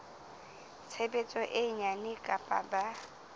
tshebetso e nyane kapa ba